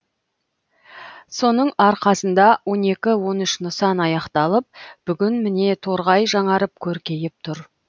соның арқасында он екі он үш нысан аяқталып бүгін міне торғай жаңарып көркейіп тұр